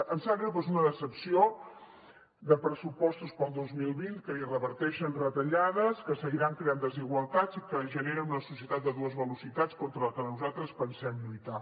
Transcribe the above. em sap greu però és una decepció de pressupostos per al dos mil vint que ni reverteixen retallades que seguiran creant desigualtats i que generen una societat de dues velocitats contra la que nosaltres pensem lluitar